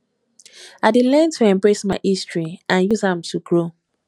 i dey learn to embrace my history and use am to grow